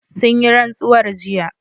Sun yi rantsuwar jiya